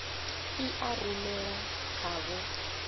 i a rumela kha vho